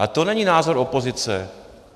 A to není názor opozice.